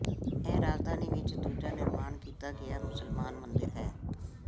ਇਹ ਰਾਜਧਾਨੀ ਵਿਚ ਦੂਜਾ ਨਿਰਮਾਣ ਕੀਤਾ ਗਿਆ ਮੁਸਲਮਾਨ ਮੰਦਿਰ ਹੈ